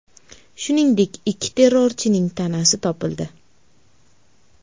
Shuningdek, ikki terrorchining tanasi topildi.